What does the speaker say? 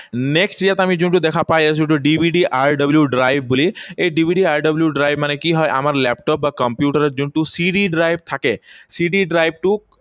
Next ইয়াত আমি যোনটো দেখা পাই আছো এইটো DVDRW drive বুলি, এই DVDRW drive মানে কি হয়। আমাৰ লেপটপ বা কম্পিউটাৰত যোনটো C drive থাকে, CD drive টো